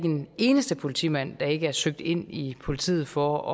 en eneste politimand der ikke er søgt ind i politiet for